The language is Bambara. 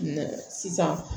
Sisan